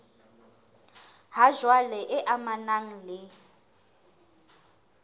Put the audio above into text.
ha jwale e amanang le